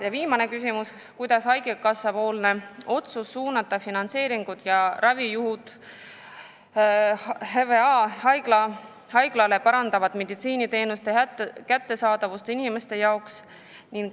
" Ja viimane küsimus: "Kuidas haigekassapoolne otsus suunata finantseeringud ja ravijuhud HVA haiglale parandavad meditsiiniteenuste kättesaadavust inimeste jaoks?